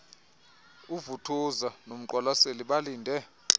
uvuthuza nomqwalaseli balinde